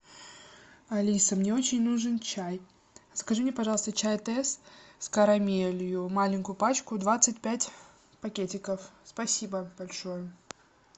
алиса мне очень нужен чай закажи мне пожалуйста чай тесс с карамелью маленькую пачку двадцать пять пакетиков спасибо большое